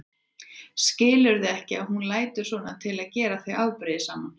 Skilurðu ekki að hún lætur svona til að gera þig afbrýðisaman?